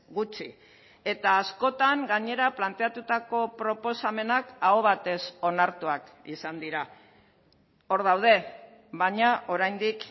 gutxi eta askotan gainera planteatutako proposamenak aho batez onartuak izan dira hor daude baina oraindik